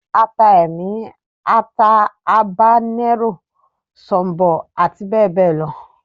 Ata Ẹmi, ata Habanero, sọ̀ǹbọ̀ ati bẹbẹ lọ.